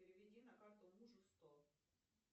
переведи на карту мужу сто